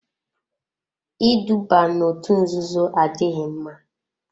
Iduba n'òtù nzuzo adịghị mma.